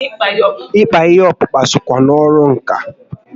Ịkpa ihe ọkpụkpa sokwa na ọrụ ǹkà